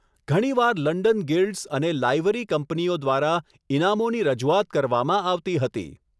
ઘણીવાર London guilds અને livery કંપનીઓ દ્વારા ઇનામોની રજૂઆત કરવામાં આવતી હતી.